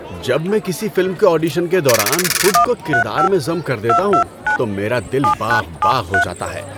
جب میں کسی فلم کے آڈیشن کے دوران خود کو کردار میں ضم کر دیتا ہوں تو میرا دل باغ باغ ہو جاتا ہے ۔